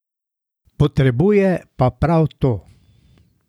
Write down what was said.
Potrebuje pa prav to.